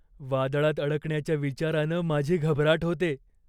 वादळात अडकण्याच्या विचारानं माझी घबराट होते.